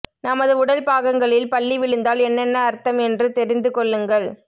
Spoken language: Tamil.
நமது உடல் பாகங்களில் பல்லி விழுந்தால் என்னென்ன அர்த்தம் என்று தெரிந்துகொள்ளுங்கள்